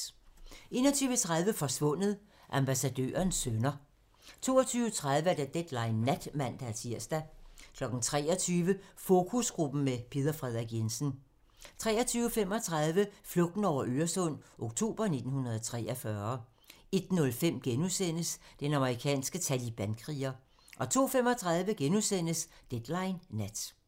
21:30: Forsvundet: Ambassadørens sønner 22:30: Deadline nat (man-tir) 23:00: Fokusgruppen med Peder Frederik Jensen 23:35: Flugten over Øresund - oktober 1943 01:05: Den amerikanske talibankriger * 02:35: Deadline nat *